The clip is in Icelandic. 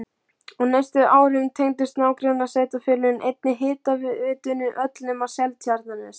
Á næstu árum tengdust nágrannasveitarfélögin einnig hitaveitunni öll nema Seltjarnarnes.